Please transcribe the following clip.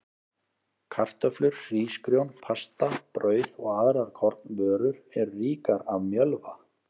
Kartöflur, hrísgrjón, pasta, brauð og aðrar kornvörur eru ríkar af mjölva.